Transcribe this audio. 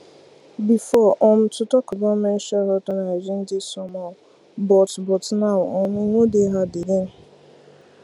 before um to talk about menstrual health and hygiene dey somehow but but now um e no dey hard again